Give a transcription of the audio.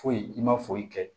Foyi i ma foyi kɛ